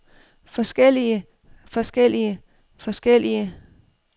forskellige forskellige forskellige